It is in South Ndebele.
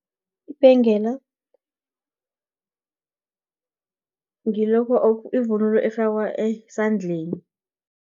Ibhengela, yivunulo efakwa esandleni.